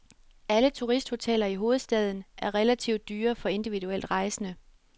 Alle turisthoteller i hovedstaden er relativt dyre for individuelt rejsende.